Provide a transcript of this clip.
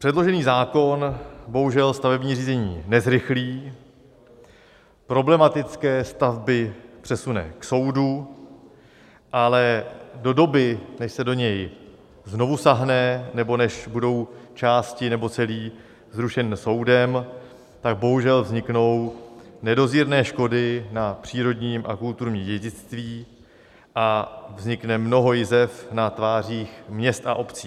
Předložený zákon bohužel stavební řízení nezrychlí, problematické stavby přesune k soudu, ale do doby, než se do něj znovu sáhne, nebo než budou části nebo celý zrušen soudem, tak bohužel vzniknou nedozírné škody na přírodním a kulturním dědictví a vznikne mnoho jizev na tvářích měst a obcí.